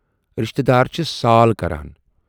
رِشتہٕ دار چھِس سال کران۔